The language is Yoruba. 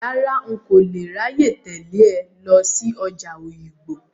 Rárá, n kò lè ráyè tẹ̀lé ẹ lọ sí ọjà Òyìngbò.